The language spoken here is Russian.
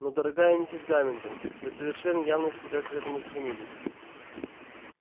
но дорогая миссис гаминтон вы совершенно явно себя к этому стремились